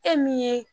E min ye